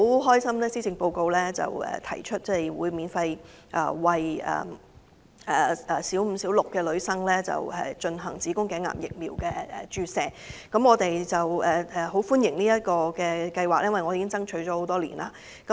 對於今次施政報告提出免費為本港小五及小六女生進行子宮頸癌疫苗注射的計劃，我們十分高興，並表示歡迎，因為這是我們多年來所爭取的。